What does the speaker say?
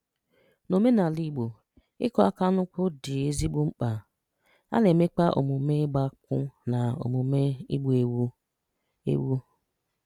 N’òmènàlà́ Igbo, ị̀kụ̀ àkà n’ụ̀kwụ̀ (bride price) dị́ èzìgbò mm̀kpà. À na-emèkwà òm̀ùom̀è ị̀gbà́ nkwù na òm̀ùom̀è ị̀gbù́ ewu. ewu.